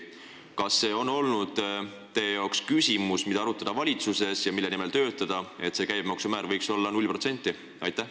Kas see on olnud teie jaoks küsimus, mida valitsuses arutada ja mille nimel töötada, et käibemaksu määr võiks olla null protsenti?